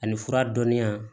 Ani fura dɔnniya